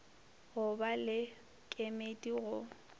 go ba le kemedi go